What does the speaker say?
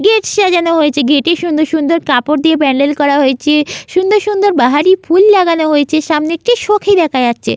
Gate gate সাজান হয়েছে গেট -এ সুন্দর সুন্দর কাপর দিয়ে প্যান্ডেল করা হয়েছে। সুন্দর সুন্দর বাহারি ফুল লাগানো হয়েছে সামনে একটি সখি দেখা যাচ্ছে--